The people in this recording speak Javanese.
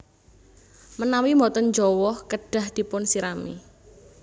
Menawi boten jawah kedah dipunsirami